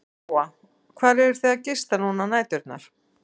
Lóa: Hvar eruð þið að gista núna á næturnar?